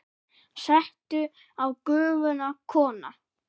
Settu á Gufuna, kona!